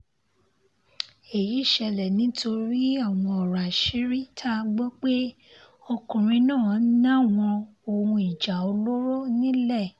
èyí ṣẹlẹ̀ nítorí àwọn ọ̀rọ̀ àṣírí tá a gbọ́ pé ọkùnrin náà náwọn ohun ìjà olóró nílẹ̀